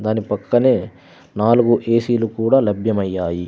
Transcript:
దాని పక్కనే నాలుగు ఏ_సీలు కూడా లభ్యమయ్యాయి.